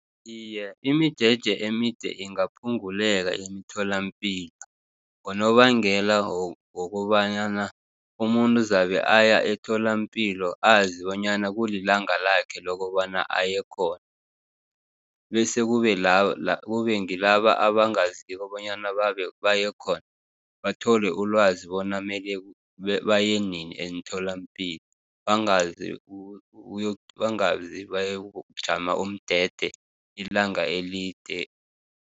Iye, imijeje emide ingaphunguleka emitholampilo, ngonobangela wokobanyana umuntu zabe aya etholampilo azibonyana kulilanga lakhe lokobana aye khona, bese kube ngilaba abangaziko bonyana bayekhona, bathole ulwazi bona mele bayenini emtholampilo, bangazi bayokujama umndede ilanga elide.